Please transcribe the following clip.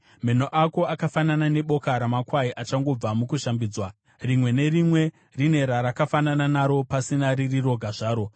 Meno ako akafanana neboka ramakwai achangobva mukushambidzwa. Rimwe nerimwe rine rarakafanana naro, pasina riri roga zvaro.